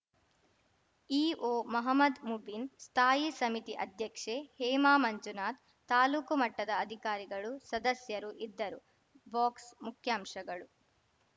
E O Mohammad Mubin ಸ್ಥಾಯಿ ಸಮಿತಿ ಅಧ್ಯಕ್ಷೆ ಹೇಮಾ ಮಂಜುನಾಥ್ ತಾಲೂಕು ಮಟ್ಟದ ಅಧಿಕಾರಿಗಳು ಸದಸ್ಯರು ಇದ್ದರು ಬಾಕ್ಸ್ ಮುಖ್ಯಾಂಶಗಳು